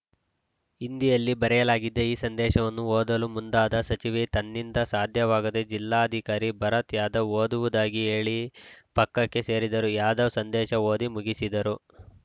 ಹಿಂದಿಯಲ್ಲಿ ಬರೆಯಲಾಗಿದೆ ಈ ಸಂದೇಶವನ್ನು ಓದಲು ಮುಂದಾದ ಸಚಿವೆ ತನ್ನಿಂದ ಸಾಧ್ಯವಾಗದೇ ಜಿಲ್ಲಾಧಿಕಾರಿ ಭರತ್‌ ಯಾದವ್‌ ಓದುವುದಾಗಿ ಹೇಳಿ ಪಕ್ಕಕ್ಕೆ ಸರಿದರು ಯಾದವ್‌ ಸಂದೇಶ ಓದಿ ಮುಗಿಸಿದರು